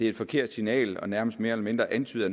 et forkert signal og nærmest mere eller mindre antyder